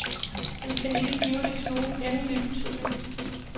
Man kan ikke give det nogen endelig betydning.